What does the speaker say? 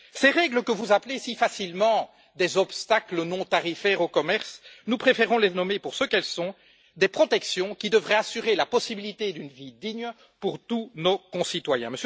Ces règles que vous appelez si facilement des obstacles non tarifaires au commerce, nous préférons les nommer pour ce qu'elles sont, à savoir des protections qui devraient assurer la possibilité d'une vie digne pour tous nos concitoyens.